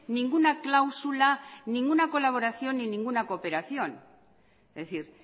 ninguna cláusula ninguna colaboración ni ninguna cooperación es decir